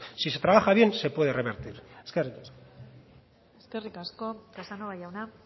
si se trabaja bien se puede revertir eskerrik asko eskerrik asko casanova jauna